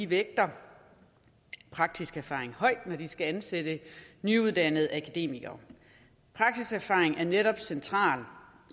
vægter praktisk erfaring højt når de skal ansætte nyuddannede akademikere praksiserfaring er netop centralt